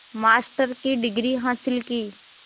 master की degree हासिल की